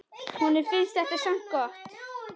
Honum finnst þetta samt gott.